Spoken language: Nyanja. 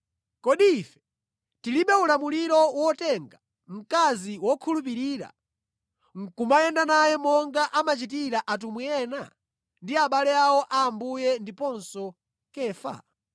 Kodi ife tilibe ulamuliro wotenga mkazi wokhulupirira nʼkumayenda naye monga amachitira atumwi ena ndi abale awo a Ambuye ndiponso Kefa?